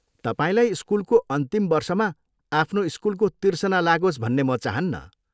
तपाईँलाई स्कुलको अन्तिम वर्षमा आफ्नो स्कुलको तिर्सना लागोस् भन्ने म चाहन्नँ।